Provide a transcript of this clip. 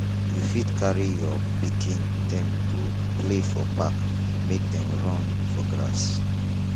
you fit carry your pikin dem go play for park make dem run for grass